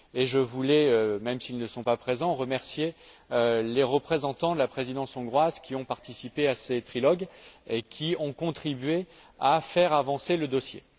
Et je voulais, même s'ils ne sont pas présents, remercier les représentants de la présidence hongroise qui ont participé à ces trilogues et qui ont contribué à faire avancer le dossier.